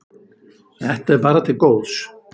Þetta er bara til góðs.